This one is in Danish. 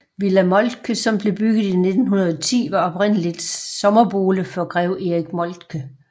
Villa Moltke som blev bygget i 1910 var oprindeligt sommerbolig for Grev Erik Moltke